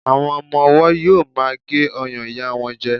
àwọn ọmọ ọwọ yíò ma gé ọyàn ìyá won jẹ